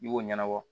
I b'o ɲɛnabɔ